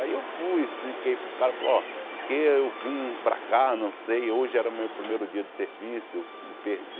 Aí eu fui, expliquei para o cara, falou, ó... Que eu vim para cá, não sei, hoje era meu primeiro dia de serviço, me perdi.